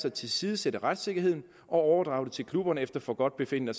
at tilsidesætte retssikkerheden og overdrage det til klubberne efter forgodtbefindende